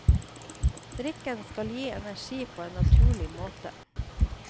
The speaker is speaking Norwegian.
Drikken skal gi energi på en naturlig måte.